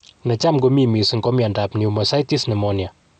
Ne cham ko mi mising ko miondop pnemoucystis pnemonia.